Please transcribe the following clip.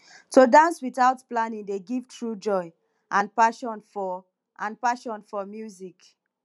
to dance without planning dey give true joy and passion for and passion for music